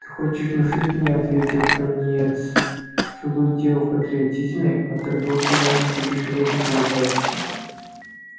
ты хочешь внушить мне ответил пониетс что тут дело в патриотизме а торговцы начисто лишены такого качества